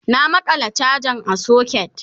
na maƙala chajan a socket